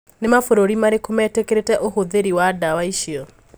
Ni mabũrũri marikũ metikiritie ũhũthe4ri wa dawa icio?